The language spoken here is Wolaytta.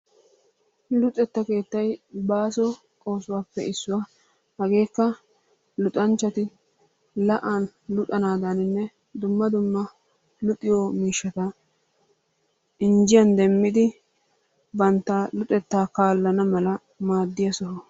Luxetta keettay baaso oosuwappe issuwa. Hageekka luxxanchchatti la'an luxanaaganne dumma dumma luxiyo miishshata injjiyan demmidi bantta luxettaa kaalana mala maaddiya soho.